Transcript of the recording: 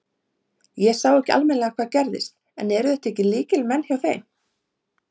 Ég sá ekki almennilega hvað gerðist en eru þetta ekki lykilleikmenn hjá þeim?